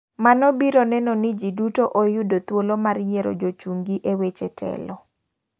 Mano biro neno ni ji duto oyudo thuolo mar yiero jochung gi e weche telo.